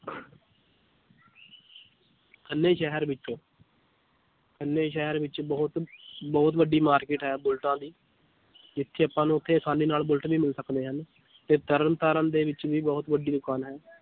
ਖੰਨੇ ਸ਼ਹਿਰ ਵਿੱਚ ਖੰਨੇ ਸ਼ਹਿਰ ਵਿੱਚ ਬਹੁਤ ਬਹੁਤ ਵੱਡੀ ਮਾਰਕਿਟ ਹੈ ਬੁਲਟਾਂ ਦੀ ਜਿੱਥੇ ਆਪਾਂ ਨੂੰ ਉੱਥੇ ਆਸਾਨੀ ਨਾਲ ਬੁਲਟ ਵੀ ਮਿਲ ਸਕਦੇ ਹਨ ਤੇ ਤਰਨ ਤਾਰਨ ਦੇ ਵਿੱਚ ਵੀ ਬਹੁਤ ਵੱਡੀ ਦੁਕਾਨ ਹੈ